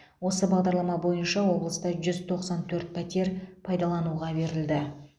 осы бағдарлама бойынша облыста жүз тоқсан төрт пәтер пайдалануға берілді